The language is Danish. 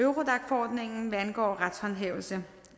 eurodac forordningen hvad angår retshåndhævelse